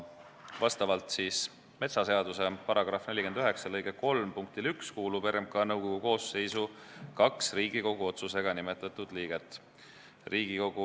Vastavalt metsaseaduse § 49 lõike 3 punktile 1 kuulub RMK nõukogu koosseisu kaks Riigikogu otsusega nimetatud liiget.